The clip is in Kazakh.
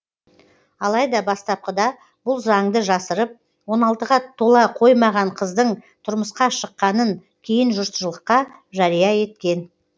алайда бастапқыда бұл заңды жасырып он алтыға тола қоймаған қыздың тұрмысқа шыққанын кейін жұртшылыққа жария еткен